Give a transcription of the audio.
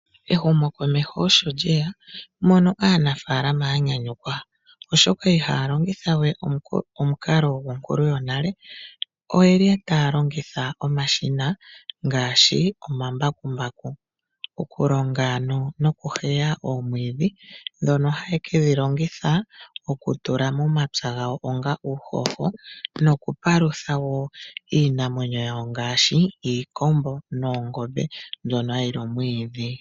Ehumo komeho osho lye ya mono aanafalama ya nyanyukwa ,oshoka ihaya longitha we omukalo gwonkulu yonale oye li taya longitha omashina ngaashi omambakumbaku. Okulonga ano nokuheya omwiidhi ndhoka haye kedhi longitha okutula momapya gawo onga uuhoho no kupalutha wo iinamwenyo yawo ngaashi iikombo noongombe mbyono hayi li omwiidhi.